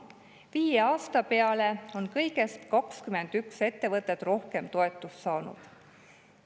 Viie aasta peale on kõigest 21 ettevõtet rohkem toetust saanud.